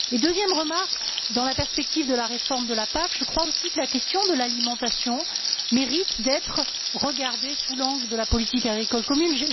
Deuxième remarque dans la perspective de la réforme de la PAC, je crois aussi que la question de l'alimentation mérite d'être regardée sous l'angle de la politique agricole commune.